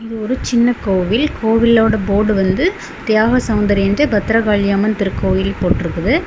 இது ஒரு சின்ன கோவில் கோவிலோட போர்டு வந்து தியாக சௌந்தரி என்று பத்ரகாளி அம்மன் திருக்கோவில் போட்ருக்குது.